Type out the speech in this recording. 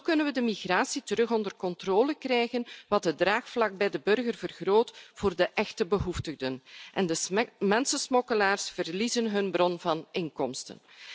Zo kunnen we de migratie terug onder controle krijgen wat het draagvlak bij de burger vergroot voor de echte behoeftigen en de mensensmokkelaars verliezen hun bron van inkomsten.